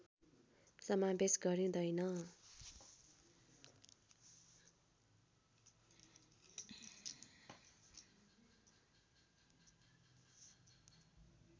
समावेश गरिँदैन